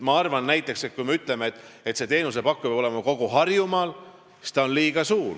Ma arvan näiteks, et kui me ütleme, et see teenusepakkuja peab olema Harjumaal, siis on piirkond liiga suur.